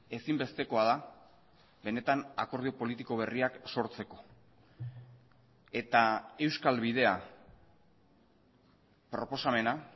ezinbestekoa da benetan akordio politiko berriak sortzeko eta euskal bidea proposamena